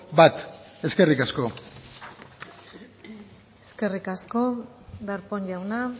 bat eskerrik asko eskerrik asko darpón jauna